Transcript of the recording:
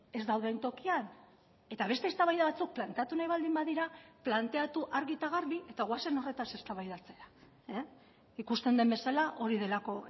ez dauden tokian eta beste eztabaida batzuk planteatu nahi baldin badira planteatu argi eta garbi eta goazen horretaz eztabaidatzera ikusten den bezala hori delako